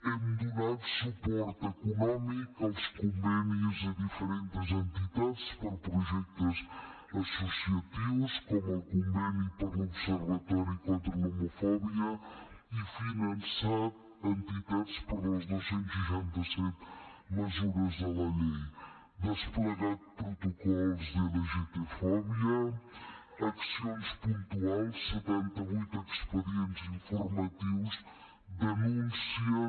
hem donat suport econòmic als convenis a diferentes entitats per a projectes associatius com el conveni per a l’observatori contra l’homofòbia i finançat entitats per a les dos cents i seixanta set mesures de la llei desplegat protocols d’lgtfòbia accions puntuals setanta vuit expedients informatius denúncies